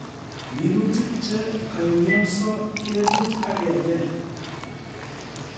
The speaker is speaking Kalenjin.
Minutik che kaimionso ketut akebel